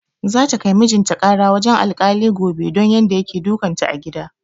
Za ta kai mijin ta ƙara wajen alkali gobe don yadda yake dukan ta a gida